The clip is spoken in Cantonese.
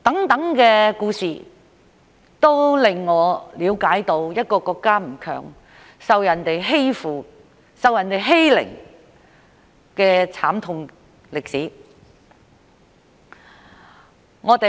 這些故事都令我了解到，一個國家不強大，受人欺負、受人欺凌的慘痛歷史。